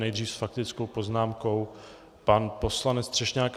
Nejdřív s faktickou poznámkou pan poslanec Třešňák.